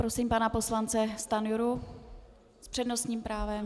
Prosím pana poslance Stanjuru s přednostním právem.